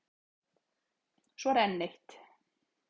Svo er enn eitt.